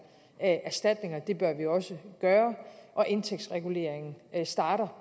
erstatninger det bør vi også gøre og indtægtsreguleringen starter